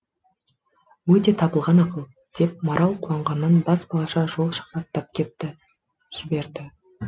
өте табылған ақыл деп марал қуанғаннан бас балаша қол шапаттап жіберді